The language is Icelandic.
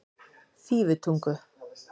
Fífutungu